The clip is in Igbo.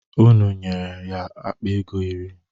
Unu nyere ya akpa ego iri?